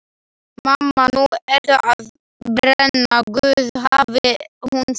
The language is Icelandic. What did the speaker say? Mamma, nú ertu að brenna guð, hafði hún sagt.